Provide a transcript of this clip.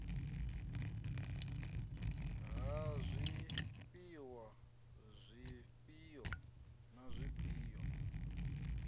ha zwifhiwa zwifhio na zwifhio